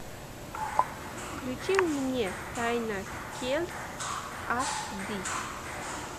включи мне тайна келлс ас ди